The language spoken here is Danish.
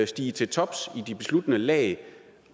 stige til tops i de besluttende lag